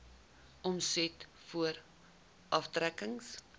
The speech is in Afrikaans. omset voor aftrekkings